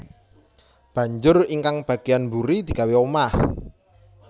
Banjur ingkang bagéyan mburi digawé omah